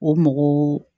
O mɔgɔw